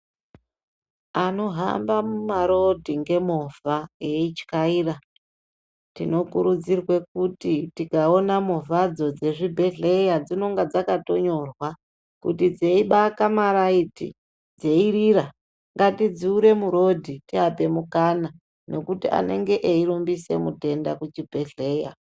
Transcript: Anohamba mumarodhi ngemovha veityaira tinokurudzirwe kuti tikaona movhadzo dzezvibhedhlera dzinonga dzakatonyorwa kuti dzeibaka ma lights dzeirira ngatidzure murodhi tiape mukana nokuti anenge eirumbise mutenda kuchibhedhlera.